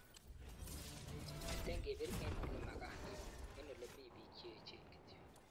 Mete kebir eng ole makaat, eng ole mibik che echen kityo!"